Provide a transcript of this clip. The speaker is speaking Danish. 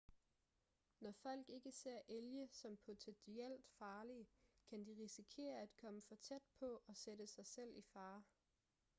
når folk ikke ser elge som potentielt farlige kan de risikere at komme for tæt på og sætte sig selv i fare